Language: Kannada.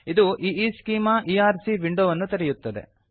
ಇದು ಈಶೆಮಾ ಇಆರ್ಸಿ ವಿಂಡೊವನ್ನು ತೆರೆಯುತ್ತದೆ